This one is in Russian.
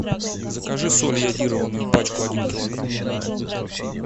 закажи соль йодированную пачку один килограмм